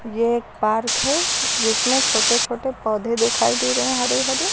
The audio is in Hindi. यह एक पार्क है जिसमें छोटे छोटे पौधे दिखाई दे रहे हैं हरे हरे।